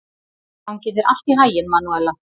Gangi þér allt í haginn, Manúella.